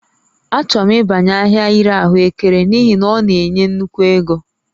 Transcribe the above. Achọrọ m ịbanye ahịa ịre ahụekere n'ihi na ọ na-enye nnukwu ego